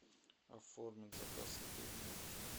оформить заказ еды в номер